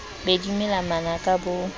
be di mela manaka bo